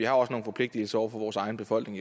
også nogle forpligtelser over for vores egen befolkning